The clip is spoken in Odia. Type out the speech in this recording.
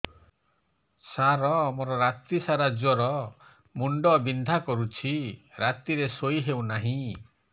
ସାର ମୋର ରାତି ସାରା ଜ୍ଵର ମୁଣ୍ଡ ବିନ୍ଧା କରୁଛି ରାତିରେ ଶୋଇ ହେଉ ନାହିଁ